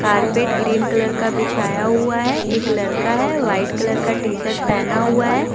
Carpet green colour का बिछाया हुआ है एक लड़का है व्हाइट कलर का टी शर्ट पहना हुआ है।